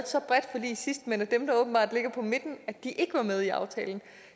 så bredt forlig sidst men at dem der åbenbart ligger på midten ikke var med i aftalen